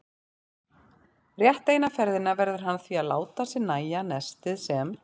Rétt eina ferðina verður hann því að láta sér nægja nestið sem